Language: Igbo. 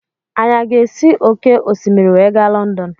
Anyi a ga-esi òkè osimiri wee ga Lọndọn.